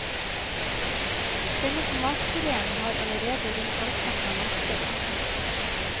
Denne tomatpuréen har allerede rundt halvparten av markedet. punktum